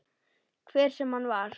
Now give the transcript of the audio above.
Hver sem hann var.